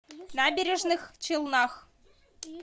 набережных челнах